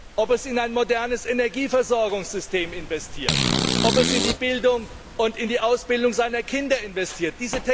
Oder ob es in ein modernes Energieversorgungssystem und in die Bildung und in die Ausbildung seiner Kinder investiert?